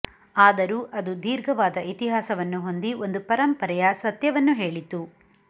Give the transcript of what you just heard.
ಆದರೂ ಆದು ದೀರ್ಘವಾದ ಇತಿಹಾಸವನ್ನು ಹೊಂದಿ ಒಂದು ಪರಂಪರೆಯ ಸತ್ಯವನ್ನು ಹೇಳಿತು